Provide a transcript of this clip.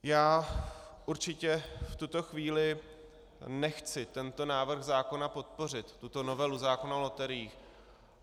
Já určitě v tuto chvíli nechci tento návrh zákona podpořit, tuto novelu zákona o loteriích.